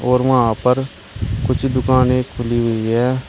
और वहां पर कुछ दुकानें खुली हुई है।